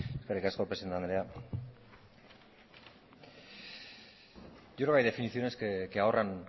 eskerrik asko presidente andrea hay definiciones que ahorran